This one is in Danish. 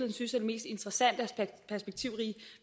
mest interessante og perspektivrige